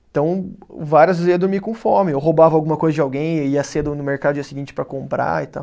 Então, várias vezes eu ia dormir com fome, ou roubava alguma coisa de alguém, ia cedo no mercado dia seguinte para comprar e tal.